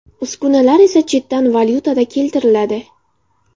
Uskunalar esa chetdan valyutada keltiriladi.